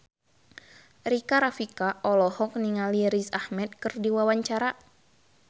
Rika Rafika olohok ningali Riz Ahmed keur diwawancara